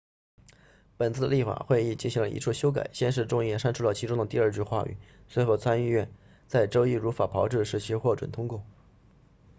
本次的立法会议进行了一处修改先是众议院删除了其中的第二句话语随后参议院在周一如法炮制使其获准通过